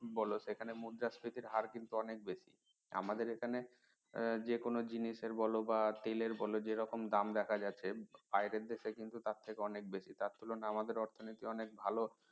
বলো সেখানে মুদ্রা স্ফীতির হার কিন্তু অনেক বেশি আমাদের এখানে যেকোনো জিনিসের বলো বা তেলের দেখো যেরকম দাম দেখা যাচ্ছে বাইরের দেশে কিন্তু তার থেকে অনেক বেশি তার তুলনায় আমাদের অর্থনীতি অনেক ভালো